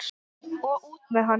Og út með hann!